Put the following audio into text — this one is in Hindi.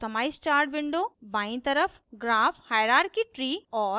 customize chart window बायीं तरह graph hierarchy tree और